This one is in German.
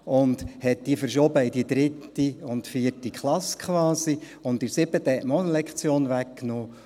Man hat sie quasi in die 3. und 4. Klasse verschoben, und in der 7. Klasse hat man auch 1 Lektion weggenommen.